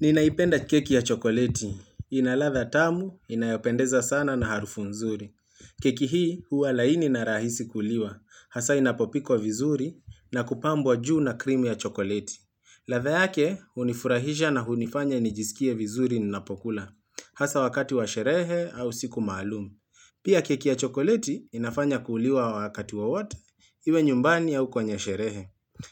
Ninaipenda keki ya chokoleti. Inaladha tamu, inayopendeza sana na harufu mzuri. Keki hii huwa laini na rahisi kuliwa. Hasa inapopikwa vizuri na kupambwa juu na krimu ya chokoleti. Ladha yake hunifurahisha na hunifanya nijisikie vizuri ninapokula. Hasa wakati wa sherehe au siku maluum. Pia keki ya chokoleti inafanya kuliwa wakati wowote, iwe nyumbani au kwenye sherehe.